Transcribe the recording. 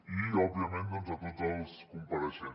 i òbviament de tots els compareixents